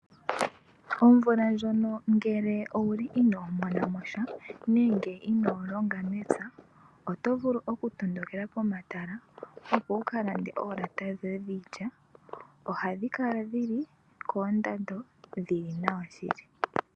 Omvula ndjono ngele owuli ino monamo sha nenge ino longa mepya, oto vulu okutondokela pomatala opo wu ka lamde oolata dhoye dhiilya. Ohadhi kala dhi li koondando dhi li nawa shili.